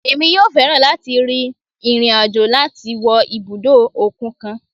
Emí yọọ fẹ lati rín irín-ajò lati wo ibudọ okun kan